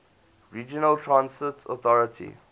regional transit authority